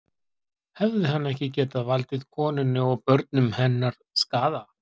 Hefði hann ekki getað valdið konunni og börnum hennar skaða?